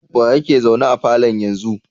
Wa yeke zaune a falon a yanzu?